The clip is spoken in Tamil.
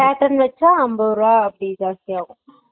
cotton வெச்சா அம்பது ருபா அப்பிடி ஜாஸ்த்தி ஆகும்